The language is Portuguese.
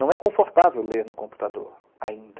Não é confortável ler no computador, ainda.